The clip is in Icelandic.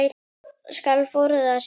skal fróðra hver